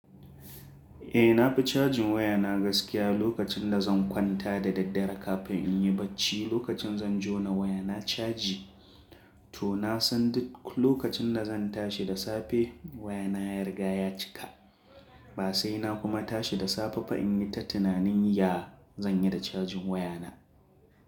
Eh na fi chajin waya na gaskiya lokacin da zan kwanta da daddare kafin in yi batf lokacin zan jona waya na caji, to na san duk lokacin da zan tashi da safe waya na ya riga ya cika. Ba sai na kuma tashi da safe ba in yi ta tunanin ya zan yi da cajin waya na.